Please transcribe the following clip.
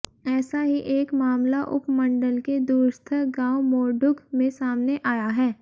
ऐसा ही एक मामला उपमंडल के दूरस्थ गांव मोरडुघ में सामने आया है